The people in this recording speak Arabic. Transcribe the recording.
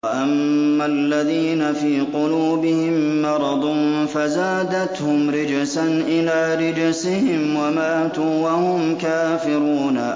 وَأَمَّا الَّذِينَ فِي قُلُوبِهِم مَّرَضٌ فَزَادَتْهُمْ رِجْسًا إِلَىٰ رِجْسِهِمْ وَمَاتُوا وَهُمْ كَافِرُونَ